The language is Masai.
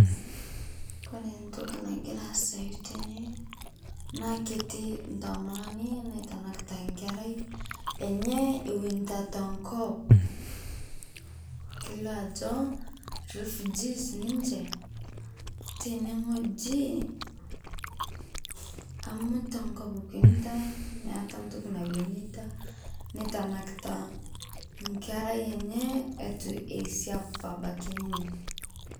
Kore ntokii nagira asayuu tene naa ketii ntomononi naitanakita nkeerai enye ewenita ta nkoop. Keileo ajoo refugees ninchee tene ng'oji amu ta nkoop ewenita meeta ntokii naiwenita neitanakita nkeerai enyee etuu eisiap abakii ninyee.